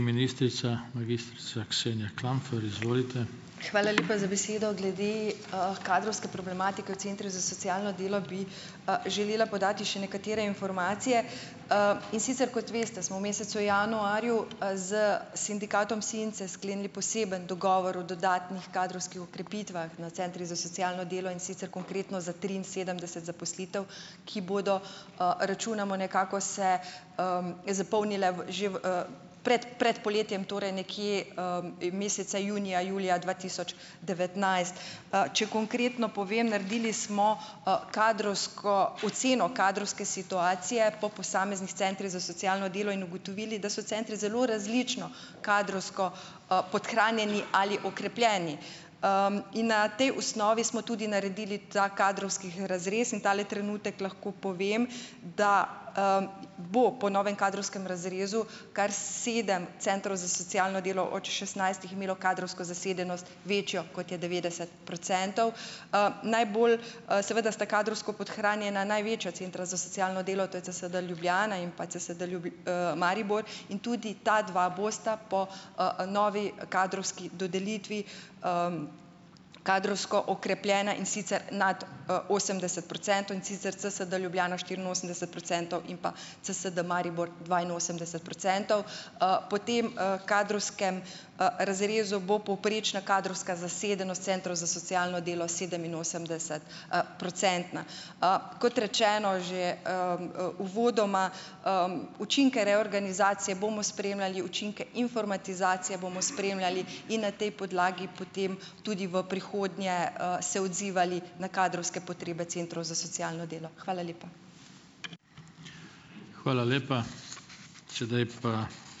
Ministrica, magistrica Ksenja Klampfer, izvolite. Hvala lepa za besedo. Glede, kadrovske problematike v centrih za socialno delo bi, želela podati še nekatere informacije. in sicer, kot veste, smo v mesecu januarju, s sindikatom SINCE sklenili poseben dogovor o dodatnih kadrovskih okrepitvah na centrih za socialno delo, in sicer konkretno za triinsedemdeset zaposlitev, ki bodo, računamo nekako, se, zapolnile v že v, pred, pred poletjem, torej nekje, meseca junija, julija dva tisoč devetnajst, če konkretno povem, naredili smo, kadrovsko, oceno kadrovske situacije po posameznih centrih za socialno delo in ugotovili, da so centri zelo različno kadrovsko, podhranjeni ali okrepljeni. in na tej osnovi smo tudi naredili ta kadrovski razrez in tale trenutek lahko povem, da, bo po novem kadrovskem razrezu kar sedem centrov za socialno delo od šestnajstih imelo kadrovsko zasedenost večjo, kot je devetdeset procentov. najbolj, seveda sta kadrovsko podhranjena največja centra za socialno delo, to je CSD Ljubljana in pa CSD Maribor in tudi ta dva bosta po, novi, kadrovski dodelitvi, kadrovsko okrepljena, in sicer nad, osemdeset procentov, in sicer CSD Ljubljana štiriinosemdeset procentov in pa CSD Maribor dvainosemdeset procentov. po tem, kadrovskem, razrezu bo povprečna kadrovska zasedenost centrov za socialno delo sedeminosemdeset-, procentna. kot rečeno že, uvodoma, učinke reorganizacije bomo spremljali, učinke informatizacije bomo spremljali in na tej podlagi potem tudi v prihodnje, se odzivali na kadrovske potrebe centrov za socialno delo. Hvala lepa. Hvala lepa. Sedaj pa ...